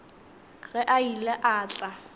ge a ile a tla